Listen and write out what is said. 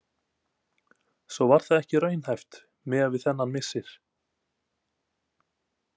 Svo var það ekki raunhæft miða við þennan missir.